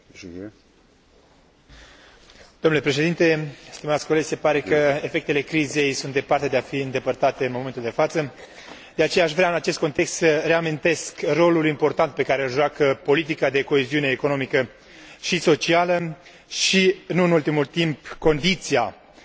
Se pare că efectele crizei sunt departe de a fi îndepărtate în momentul de față, de aceea aș vrea în acest context să reamintesc rolul important pe care îl joacă politica de coeziune economică și socială și, nu în ultimul rând, condiția sine qua non pe care aceasta o reprezintă.